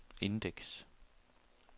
indeks